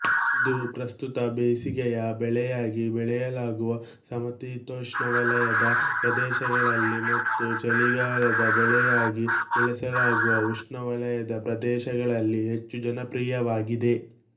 ಇದು ಪ್ರಸ್ತುತ ಬೇಸಿಗೆಯ ಬೆಳೆಯಾಗಿ ಬೆಳೆಯಲಾಗುವ ಸಮಶೀತೋಷ್ಣವಲಯದ ಪ್ರದೇಶಗಳಲ್ಲಿ ಮತ್ತು ಚಳಿಗಾಲದ ಬೆಳೆಯಾಗಿ ಬೆಳೆಸಲಾಗುವ ಉಷ್ಣವಲಯದ ಪ್ರದೇಶಗಳಲ್ಲಿ ಹೆಚ್ಚು ಜನಪ್ರಿಯವಾಗಿದೆ